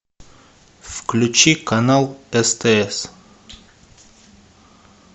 включи канал стс